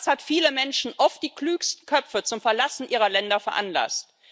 Das hat viele Menschen, oft die klügsten Köpfe, zum Verlassen ihrer Länder veranlasst.